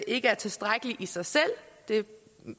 ikke er tilstrækkeligt i sig selv det